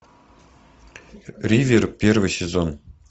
ривер первый сезон